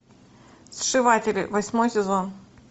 сшиватели восьмой сезон